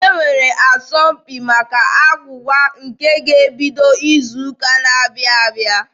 E nwere asọmpi maka agwụgwa nke ga-ebido izu ụka na-abịa.